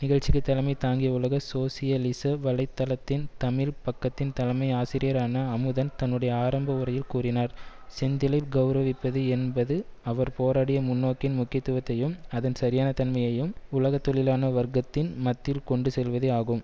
நிகழ்ச்சிக்கு தலைமை தாங்கிய உலக சோசியலிச வலை தளத்தின் தமிழ் பக்கத்தின் தலைமை ஆசிரியரான அமுதன் தன்னுடைய ஆரம்ப உரையில் கூறினார் செந்திலை கெளரவிப்பது என்பது அவர் போராடிய முன்னோக்கின் முக்கியத்துவத்தையும் அதன் சரியான தன்மையையும் உலக தொழிலான வர்க்கத்தின் மத்தியிர் கொண்டு செல்வதெ ஆகும்